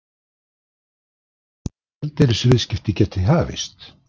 Eða hvenær eðlileg gjaldeyrisviðskipti geti hafist?